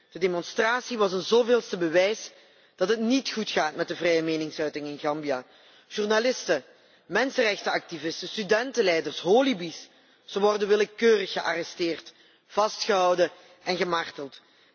De demonstratie was een zoveelste bewijs dat het niet goed gaat met de vrije meningsuiting in Gambia. Journalisten, mensenrechtenactivisten, studentenleiders en holebi's worden willekeurig gearresteerd, vastgehouden en gemarteld.